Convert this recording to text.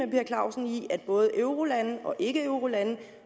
per clausen i at både eurolande og ikkeeurolande